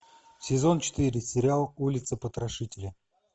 сезон четыре сериал улица потрошителя